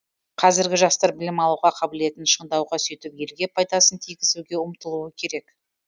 қазіргі жастар білім алуға қабілетін шыңдауға сөйтіп елге пайдасын тигізуге ұмтылуы керек